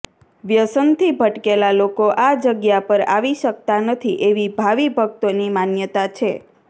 વ્યસન થી ભટકેલા લોકો આ જગ્યા પર આવી શકતા નથી એવી ભાવીભકતોની માન્યતા છે